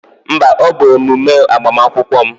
Mba, ọ bụ emume agbamakwụkwọ m